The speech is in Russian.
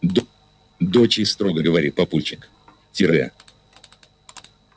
доча строго говорит папульчик